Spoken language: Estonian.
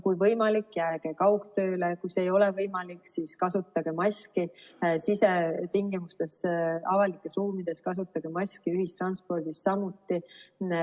Kui on võimalik, jääge kaugtööle, kui see ei ole võimalik, siis kasutage maski sisetingimustes, avalikes ruumides kasutage maski, ühistranspordis samuti.